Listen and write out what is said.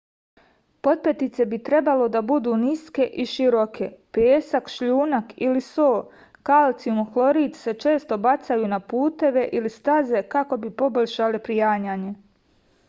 потпетице би требало да буду ниске и широке. песак шљунак или со калцијум хлорид се често бацају на путеве или стазе како би побољшале пријањање